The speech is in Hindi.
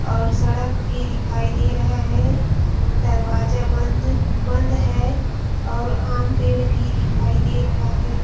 और सड़क पर दिखाई दे रहा है दरवाजा बंद बंद है और आम पेड़ भी दिखाई दे रहा है।